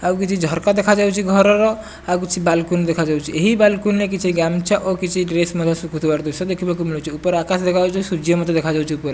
ଆଉ କିଛି ଝରକା ଦେଖା ଯାଉଛି ଘରର ଆଉ କିଛି ବାଲକୁନୀ ଦେଖାଯାଉଛି ଏହି ବାଲକୁନୀ ରେ କିଛି ଗାମୁଛା ଓ ଡ୍ରେସ୍ ମଧ୍ଯ ସୁଖୁଥିବାର ଦୃଶ୍ୟ ଦେଖାଯାଉଛି ଉପରେ ଆକାଶ ଦେଖା ଯାଉଛି ସୂର୍ଯ୍ୟ ମଧ୍ଯ ଦେଖାଯାଉଛି ଉପରେ।